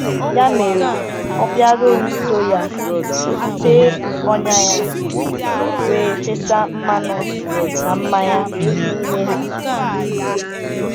Ya mere, ọ bịara nso ya, tee ọnya ya, wee fesa mmanụ na mmanya n’ime ha.